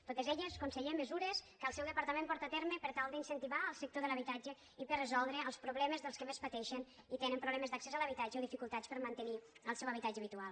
totes elles conseller mesures que el seu departament porta terme per tal d’incentivar el sector de l’habitatge i per resoldre els problemes dels que més pateixen i tenen problemes d’accés a l’habitatge o dificultats per mantenir el seu habitatge habitual